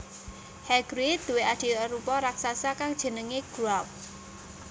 Hagrid duwé adhi arupa raksasa kang jenengé Grawp